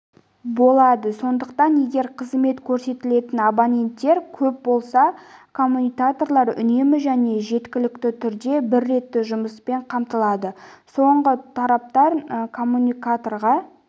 болады сондықтан егер қызмет көрсетілетін абоненттер көп болса коммутаторлар үнемі және жеткілікті түрде бір ретті жұмыспен қамтылады соңғы тораптан коммутаторға